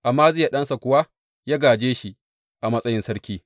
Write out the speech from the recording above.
Amaziya ɗansa kuwa ya gāje shi a matsayin sarki.